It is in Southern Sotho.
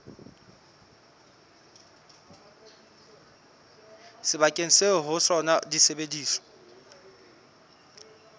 sebakeng seo ho sona disebediswa